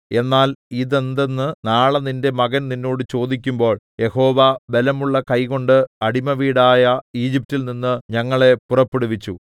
എന്നാൽ ഇതെന്തെന്ന് നാളെ നിന്റെ മകൻ നിന്നോട് ചോദിക്കുമ്പോൾ യഹോവ ബലമുള്ള കൈകൊണ്ട് അടിമവീടായ ഈജിപ്റ്റിൽ നിന്ന് ഞങ്ങളെ പുറപ്പെടുവിച്ചു